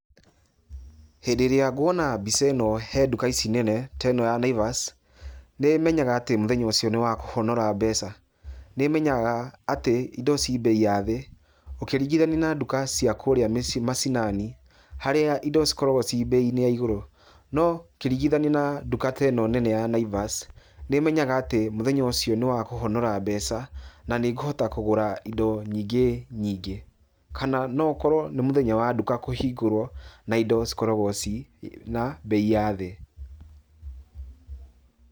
Hĩndĩ ĩrĩa nguona mbica ĩno he duka ici nene, ta ĩno ya Naivas, nĩ menyaga atĩ mũthenya ũcio nĩ wa kũhonora mbeca, nĩmenyaga atĩ indo ci bei ya thĩ, ũkĩringithania na duka cia kũrĩa mĩ macinani, harĩa indo cikoragwo ci bei-inĩ ya igũrũ. No ũkĩringithania na duka ta ĩno nene ya Naivas, nĩmenyaga atĩ mũthenya ũcio nĩ wa kũhonora mbeca na nĩ ikũhota kũgũra indo nyingĩ nyingĩ, kana no ũkorwo nĩ mũthenya wa duka kũhingũrwo, na indo cikoragwo ciĩna bei ya thĩ.